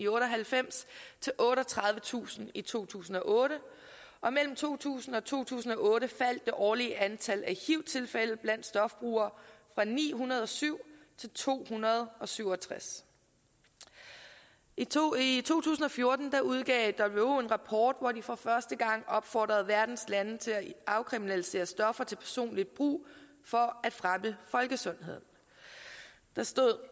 otte og halvfems til otteogtredivetusind i to tusind og otte og mellem to tusind og to tusind og otte faldt det årlige antal af hiv tilfælde blandt stofbrugere fra ni hundrede og syv til to hundrede og syv og tres i to i to tusind og fjorten udgav who en rapport hvori de for første gang opfordrede verdens lande til at afkriminalisere stoffer til personligt brug for at fremme folkesundheden der stod